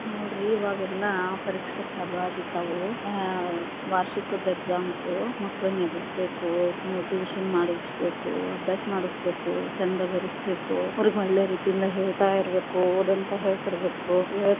ನೋಡ್ರಿ ಇವಾಗೆಲ್ಲಾ ಪರೀಕ್ಷೆ ಚಾಲು ಆಗಿಬಿಟ್ಟಾವು, ಆಹ್ ವಾರ್ಷಿಕದ exams ಮಕ್ಕಳನ್ನ ಎಬ್ಬಿಸಬೇಕು, motivation ಮಾಡಿಸ್ಬೇಕು ಅಭ್ಯಾಸ ಮಾಡಿಸ್ಬೇಕು , ಚಂದ ಬರಿಸ್ಬೇಕು ಅವ್ರಗ ಒಳ್ಳೆ ರೀತಿಯಿಂದ ಹೇಳ್ತಾ ಇರಬೇಕು, ಓದಂತ ಹೇಳ್ತಾ ಇರಬೇಕು.